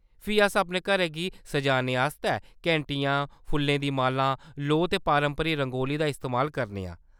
फ्ही अस अपने घरै गी सजाने आस्तै घैंटियें, फुल्लें दियां मालां, लोऽ ते पारंपरिक रंगोली दा इस्तेमाल करने आं।